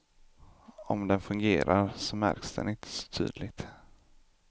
Om den fungerar, så märks den inte så tydligt.